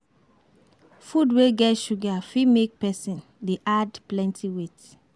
Food wey get sugar fit make person dey add plenty weight